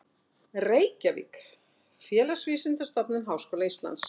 Reykjavík, Félagsvísindastofnun Háskóla Íslands.